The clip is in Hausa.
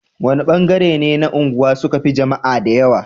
wani ban gare ne na unguwa suka Fi jamaa da yawa